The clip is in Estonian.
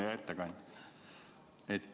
Hea ettekandja!